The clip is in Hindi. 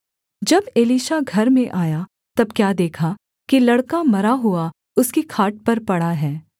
जब एलीशा घर में आया तब क्या देखा कि लड़का मरा हुआ उसकी खाट पर पड़ा है